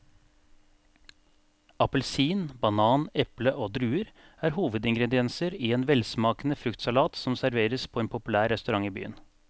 Appelsin, banan, eple og druer er hovedingredienser i en velsmakende fruktsalat som serveres på en populær restaurant i byen.